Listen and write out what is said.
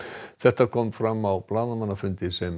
þetta kom fram á blaðamannafundi sem